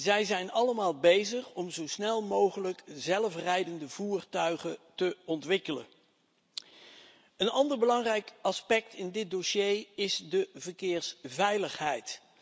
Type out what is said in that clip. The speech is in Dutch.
Zij zijn allemaal bezig om zo snel mogelijk zelfrijdende voertuigen te ontwikkelen. Een ander belangrijk aspect in dit dossier is de verkeersveiligheid.